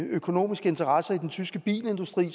økonomiske interesser i den tyske bilindustri og